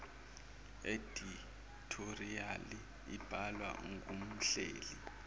edithoriyali ibhalwa ngumhleli